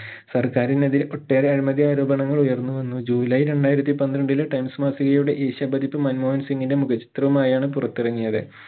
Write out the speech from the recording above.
സർക്കാറിനെതിരെ ഒട്ടേറെ അഴിമതി ആരോപണങ്ങൾ ഉയർന്നുവന്നു ജുലൈ രണ്ടായിരത്തി പന്ത്രണ്ടില് times മാസികയുടെ ഏഷ്യ പതിപ്പ് മൻമോഹൻ സിംഗിന്റെ മുഖ ചിത്രവുമായാണ് പുറത്തിറങ്ങിയത്